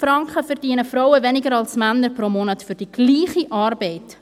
657 Franken pro Monat verdienen Frauen weniger als Männer, für die gleiche Arbeit!